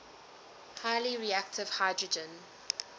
highly reactive hydrogen